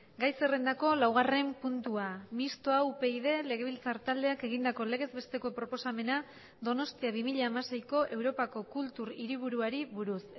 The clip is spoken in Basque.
gai zerrendako laugarren puntua mistoa upyd legebiltzar taldeak egindako legez besteko proposamena donostia bi mila hamaseiko europako kultur hiriburuari buruz